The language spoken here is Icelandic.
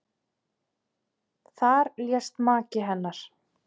Þar lést maki hennar.